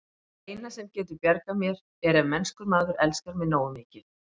Það eina, sem getur bjargað mér, er ef mennskur maður elskar mig nógu mikið.